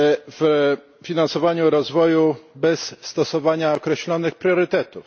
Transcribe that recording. w finansowaniu rozwoju bez stosowania określonych priorytetów.